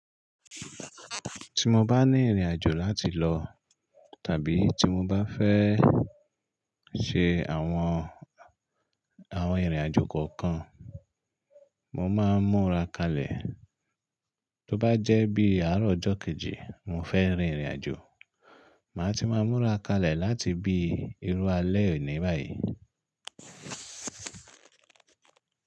Tí mo bá ní ìrìn àjò láti lọ tàbí tí mo bá fẹ́ ṣe àwọn, àwọn ìrìn àjò kankan, mo má ń múra kalẹ̀. Tó bá jẹ́ bí àárọ̀ ọjọ́ kejì mo fẹ́ rin ìrìn àjò, má ti má múra kalẹ̀ láti bí irú alẹ́ òní báyì.